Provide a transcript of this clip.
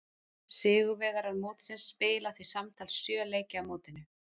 Sigurvegarar mótsins spila því samtals sjö leiki á mótinu.